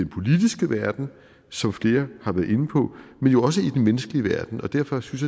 politiske verden som flere har været inde på men jo også i den menneskelige verden og derfor synes